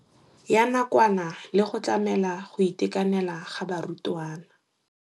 Ya nakwana le go tlamela go itekanela ga barutwana.